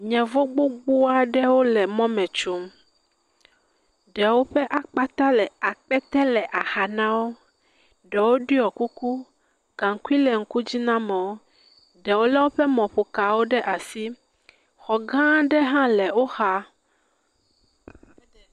Yevɔ gbogbo aɖe wole mɔ me tsom, ɖewo ƒe akpata, akpete le axa me na wo. Ɖewo ɖɔe kuku, gankui le ŋkudzi na amewo, ɖewo le woƒe mɔƒoka ɖe asi, xɔ gã aɖe hã le woxa